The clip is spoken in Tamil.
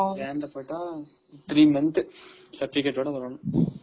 Jan ல போயிட்டா three month certificate ஓட வரணும்.